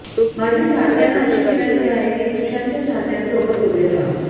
माझी चाहत्यांना अशी विनंती आहे की सुशांतच्या चाहत्यांसोबत उभे राहा